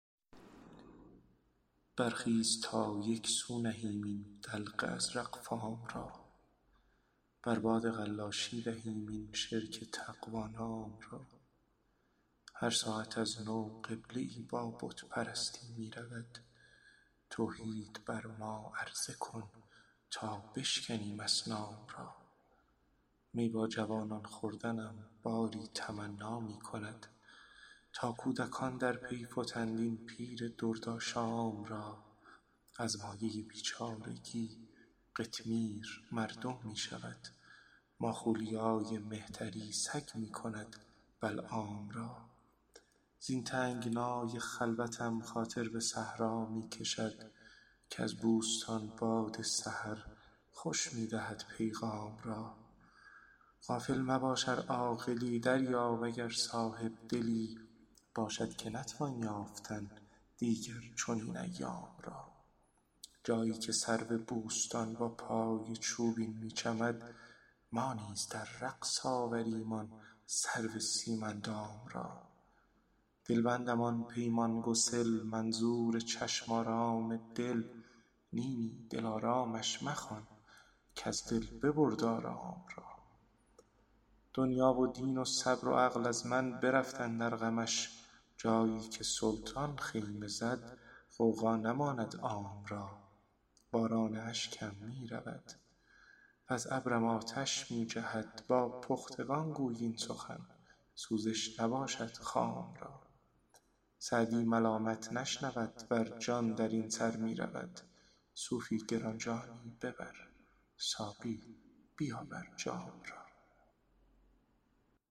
برخیز تا یک سو نهیم این دلق ازرق فام را بر باد قلاشی دهیم این شرک تقوا نام را هر ساعت از نو قبله ای با بت پرستی می رود توحید بر ما عرضه کن تا بشکنیم اصنام را می با جوانان خوردنم باری تمنا می کند تا کودکان در پی فتند این پیر دردآشام را از مایه بیچارگی قطمیر مردم می شود ماخولیای مهتری سگ می کند بلعام را زین تنگنای خلوتم خاطر به صحرا می کشد کز بوستان باد سحر خوش می دهد پیغام را غافل مباش ار عاقلی دریاب اگر صاحب دلی باشد که نتوان یافتن دیگر چنین ایام را جایی که سرو بوستان با پای چوبین می چمد ما نیز در رقص آوریم آن سرو سیم اندام را دلبندم آن پیمان گسل منظور چشم آرام دل نی نی دلآرامش مخوان کز دل ببرد آرام را دنیا و دین و صبر و عقل از من برفت اندر غمش جایی که سلطان خیمه زد غوغا نماند عام را باران اشکم می رود وز ابرم آتش می جهد با پختگان گوی این سخن سوزش نباشد خام را سعدی ملامت نشنود ور جان در این سر می رود صوفی گران جانی ببر ساقی بیاور جام را